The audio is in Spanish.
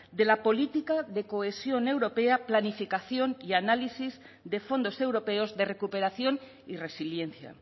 de la política de cohesión europea planificación y análisis de fondos europeos de recuperación y resiliencia